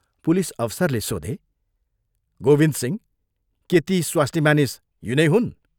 Police अफसरले सोधे, " गोविन्दसिंह के ती स्वास्नीमानिस यिनै हुन्?